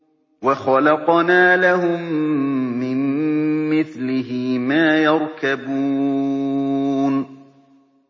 وَخَلَقْنَا لَهُم مِّن مِّثْلِهِ مَا يَرْكَبُونَ